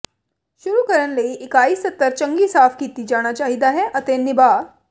ਸ਼ੁਰੂ ਕਰਨ ਲਈ ਇਕਾਈ ਸਤਹ ਚੰਗੀ ਸਾਫ਼ ਕੀਤਾ ਜਾਣਾ ਚਾਹੀਦਾ ਹੈ ਅਤੇ ਨਿਭਾ